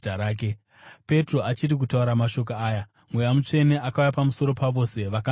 Petro achiri kutaura mashoko aya, Mweya Mutsvene akauya pamusoro pavose vakanzwa shoko.